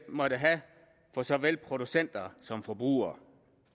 måtte have for såvel producenter som forbrugere